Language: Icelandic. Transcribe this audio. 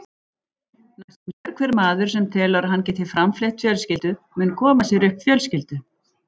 Næstum sérhver maður, sem telur að hann geti framfleytt fjölskyldu, mun koma sér upp fjölskyldu.